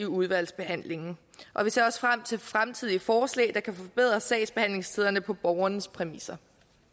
udvalgsbehandlingen vi ser også frem til fremtidige forslag der kan forbedre sagsbehandlingstiderne på borgernes præmisser